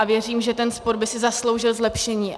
A věřím, že ten sport by si zasloužil zlepšení.